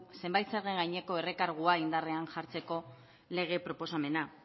zenbait zergen gaineko errekargua indarrean jartzeko lege proposamena